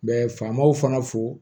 Bɛ faamaw fana fo